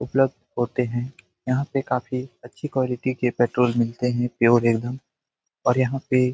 उपलब्ध होते हैं। यहाँ पे काफी अच्छी क्वालिटी के पेट्रोल मिलते हैं प्योर एकदम और यहां पे --